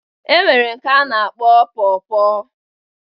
E nwere nke a na-akpọ pọ pọ